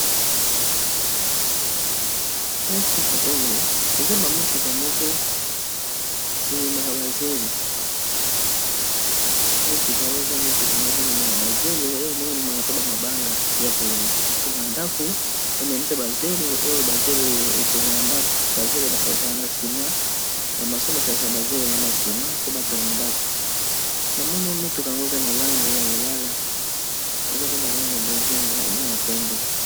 Motuka oyo eza motuka moko ememaka bazelo ememaa pe bamabanga ya kotonga ndako emema mpe bazelo oyo bazelo oyo etongaka ndako bazelo basanisaka na sina bamaso basangisaka bazelo na bansima po batonga ndako na mone motuka yango eza na lange ya lilala eza pe na lange ya bozinga na ya pembe.